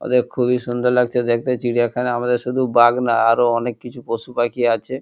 ওতে খুবই সুন্দর লাগছে দেখতে চিড়িয়াখানা আমাদের শুধু বাঘ না আরো অনেক কিছু পশু পাখি আছে।